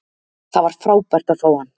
Það var frábært að fá hann.